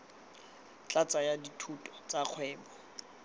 tla tsaya dithuto tsa kgwebo